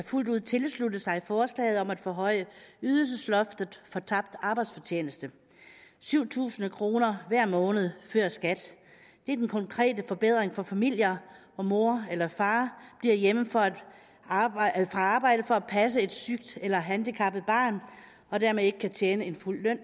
fuldt ud tilslutte sig forslaget om at forhøje ydelsesloftet for tabt arbejdsfortjeneste syv tusind kroner hver måned før skat er den konkrete forbedring for familier hvor mor eller far bliver hjemme fra arbejde arbejde for at passe et sygt eller handicappet barn og dermed ikke kan tjene en fuld løn